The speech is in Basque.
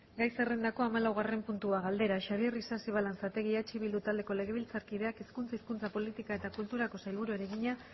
gai zerrendako hamalaugarren puntua galdera xabier isasi balanzategi eh bildu taldeko legebiltzarkideak hezkuntza hizkuntza politika eta kulturako sailburuari egina